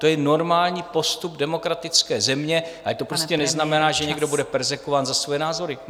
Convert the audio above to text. To je normální postup demokratické země, ale to prostě neznamená, že někdo bude perzekvován za svoje názory.